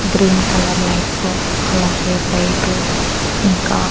green colour lights అలాగే white ఇంకా--